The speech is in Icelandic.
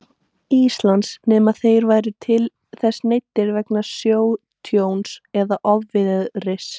Íslands, nema þeir væru til þess neyddir vegna sjótjóns eða ofviðris.